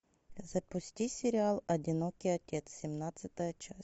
запусти сериал одинокий отец семнадцатая часть